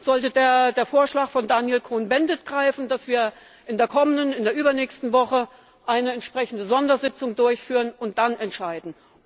Dann sollte der Vorschlag von Daniel Cohn Bendit greifen, dass wir in der kommenden oder übernächsten Woche eine entsprechende Sondersitzung durchführen und dann entscheiden.